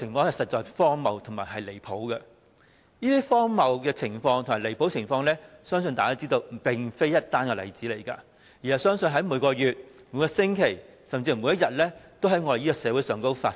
這種荒謬離譜的情況，相信大家也知道並非單一例子。我相信在每個月、每個星期，甚至每天都在香港社會上發生。